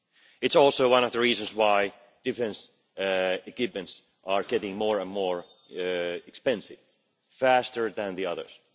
It is also one of the reasons why defence equipment is getting more and more expensive faster than the others.